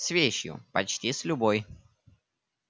с вещью почти с любой